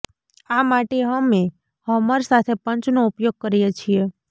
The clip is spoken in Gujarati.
આ માટે અમે હમર સાથે પંચનો ઉપયોગ કરીએ છીએ